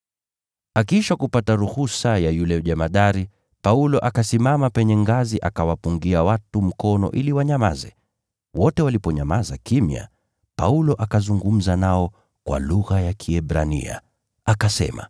Akiisha kupata ruhusa ya yule jemadari, Paulo akasimama penye ngazi akawapungia watu mkono ili wanyamaze. Wote waliponyamaza kimya, Paulo akazungumza nao kwa lugha ya Kiebrania, akasema: